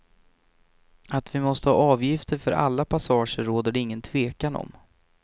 Att vi måste ha avgifter för alla passager råder det ingen tvekan om.